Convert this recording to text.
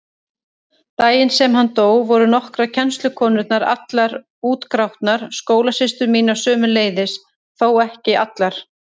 Daginn sem hann dó voru nokkrar kennslukonurnar allar útgrátnar, skólasystur mínar sömuleiðis, þó ekki allar.